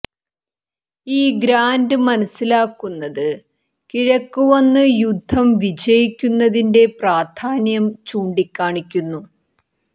ഈ ഗ്രാന്റ് മനസിലാക്കുന്നത് കിഴക്ക് വന്ന് യുദ്ധം വിജയിക്കുന്നതിന്റെ പ്രാധാന്യം ചൂണ്ടിക്കാണിക്കുന്നു